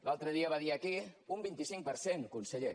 l’altre dia va dir aquí un vint cinc per cent conseller